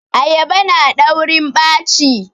Ayaba na daurin ɓaci